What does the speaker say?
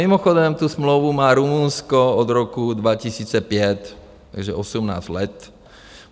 Mimochodem, tu smlouvu má Rumunsko od roku 2005, takže 18 let.